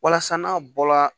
Walasa n'a bɔra